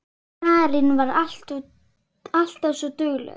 Marín var alltaf svo dugleg.